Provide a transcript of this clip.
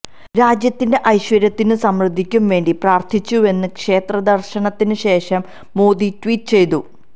രാജ്യത്തിന്റെ ഐശ്വര്യത്തിനും സമൃദ്ധിക്കും വേണ്ടി പ്രാര്ഥിച്ചുവെന്ന് ക്ഷേത്ര ദര്ശനത്തിന് ശേഷം മോദി ട്വീറ്റ് ചെയ്തു